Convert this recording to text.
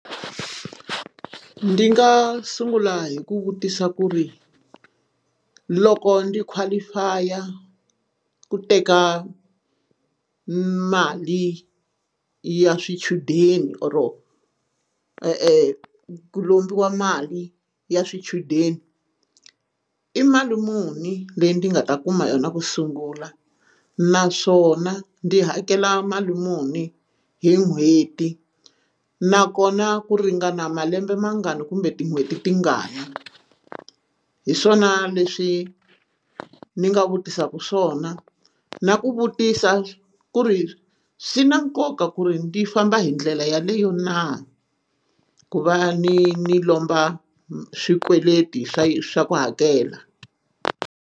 Ndzi nga sungula hi ku vutisa ku ri loko ndzi qualify ku teka mali ya swichudeni or ku e e lombiwa mali ya swichudeni i mali muni leyi ndzi nga ta kuma yona ku sungula naswona ndzi hakela mali muni hi n'hweti nakona ku ringana malembe mangani kumbe tin'hweti tingani hi swona leswi ni nga vutisaka swona na ku vutisa ku ri swi na nkoka ku ri ni famba hi ndlela yaleyo na ku va ni ni lomba swikweleti swa swa ku hakela.